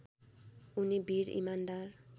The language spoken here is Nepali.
उनी वीर इमान्दार